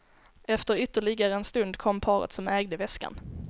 Efter ytterligare en stund kom paret som ägde väskan.